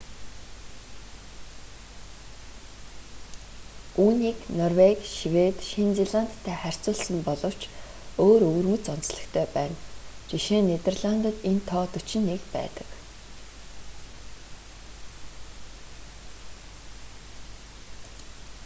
үүнийг норвеги швед шинэ зеландтай харьцуулсан боловч өөр өвөрмөц онцлогтой байна жишээ нь нидерландад энэ тоо дөчид нэг байдаг